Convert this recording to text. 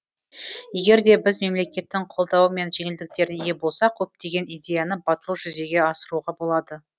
егер де біз мемлекеттің қолдауы мен жеңілдіктеріне ие болсақ көптеген идеяны батыл жүзеге асыруға болады